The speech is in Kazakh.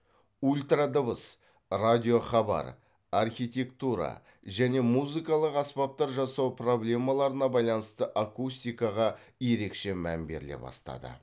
ультрадыбыс радио хабар архитектура және музыкалық аспаптар жасау проблемаларына байланысты акустикаға ерекше мән беріле бастады